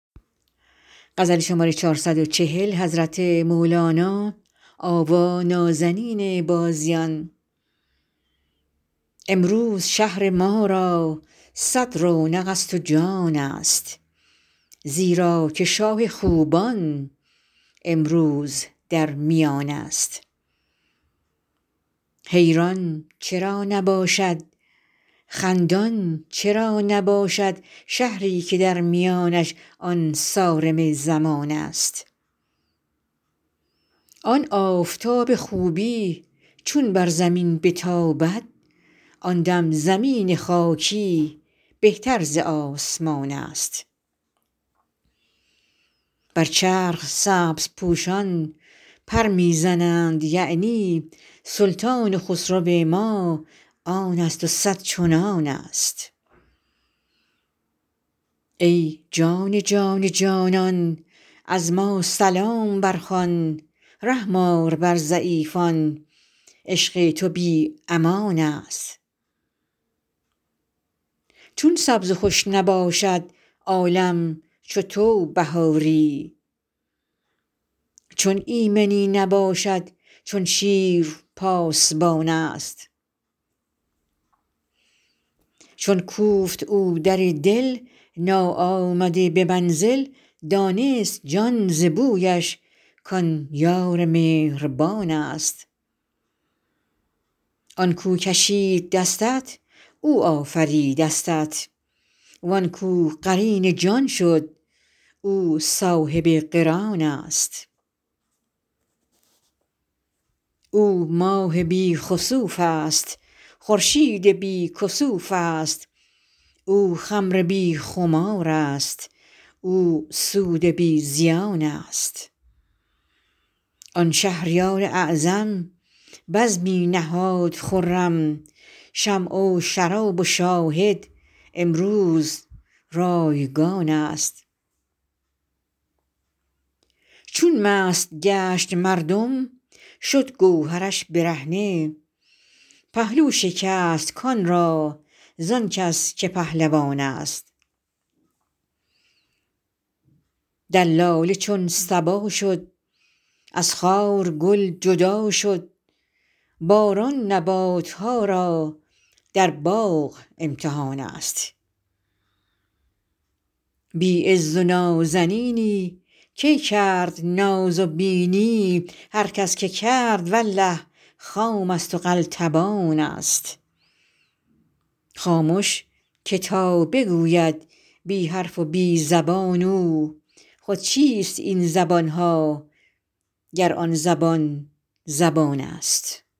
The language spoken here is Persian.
امروز شهر ما را صد رونق ست و جانست زیرا که شاه خوبان امروز در میانست حیران چرا نباشد خندان چرا نباشد شهری که در میانش آن صارم زمانست آن آفتاب خوبی چون بر زمین بتابد آن دم زمین خاکی بهتر ز آسمانست بر چرخ سبزپوشان پر می زنند یعنی سلطان و خسرو ما آن ست و صد چنانست ای جان جان جانان از ما سلام برخوان رحم آر بر ضعیفان عشق تو بی امانست چون سبز و خوش نباشد عالم چو تو بهاری چون ایمنی نباشد چون شیر پاسبانست چون کوفت او در دل ناآمده به منزل دانست جان ز بویش کان یار مهربانست آن کو کشید دستت او آفریده استت وان کو قرین جان شد او صاحب قرانست او ماه بی خسوف ست خورشید بی کسوف ست او خمر بی خمارست او سود بی زیانست آن شهریار اعظم بزمی نهاد خرم شمع و شراب و شاهد امروز رایگانست چون مست گشت مردم شد گوهرش برهنه پهلو شکست کان را زان کس که پهلوانست دلاله چون صبا شد از خار گل جدا شد باران نبات ها را در باغ امتحانست بی عز و نازنینی کی کرد ناز و بینی هر کس که کرد والله خام ست و قلتبانست خامش که تا بگوید بی حرف و بی زبان او خود چیست این زبان ها گر آن زبان زبانست